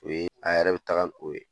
O ye, a yɛrɛ be tagali k'o ye.